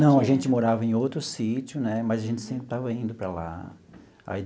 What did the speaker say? Não, a gente morava em outro sítio né, mas a gente sempre estava indo para lá aí.